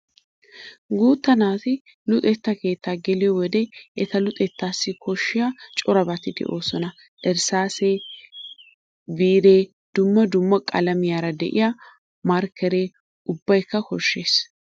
Guuta naati luxetta keettaa geliyo wode eta luxettaassi koshshiya corabati de'oosona. Irssaasee, biitee, dumma dumma qalamiyara de'iya markkeree ubbaykka koshshees.